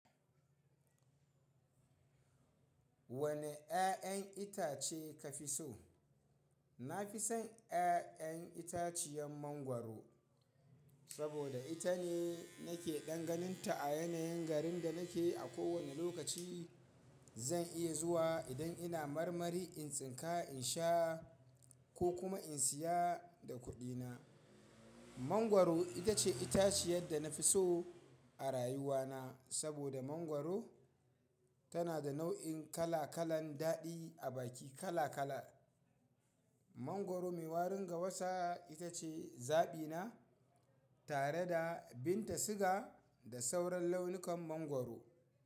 Wane ƴaƴan itace ka fi so? Na fi son ƴaƴan itaciyar mangwaro saboda ita ne nake ɗan ganin ta a yanayin garin da nake a kowane lokaci. Zan iya zuwa idan ina marmari in tsinka in sha ko kuma in siya da kuɗina. Mangwaro ita ce itaciyar da na fi so a rayuwana saboda mangwaro tana da nau'in kala kalan daɗi a baki kala kala. Mangwaro mai warin gawasa ita ce zaɓina tare da binta siga da sauran launukan mangwaro.